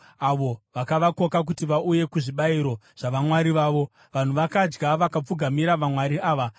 avo vakavakoka kuti vauye kuzvibayiro zvavamwari vavo. Vanhu vakadya, vakapfugamira vamwari ava.